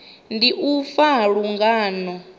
ndi u fa ha lungano